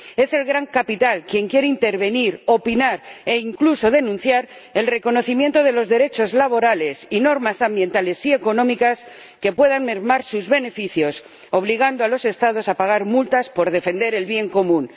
Es el gran capital quien quiere intervenir, opinar e incluso denunciar el reconocimiento de los derechos laborales y las normas ambientales y económicas que puedan mermar sus beneficios, obligando a los Estados a pagar multas por defender el bien común.